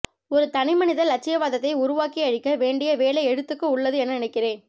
ஒரு தனிமனித இலட்சியவாதத்தை உருவாக்கியளிக்கவேண்டிய வேலை எழுத்துக்கு உள்ளது என நினைக்கிறேன்